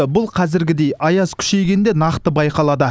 бұл қазіргідей аяз күшейгенде нақты байқалады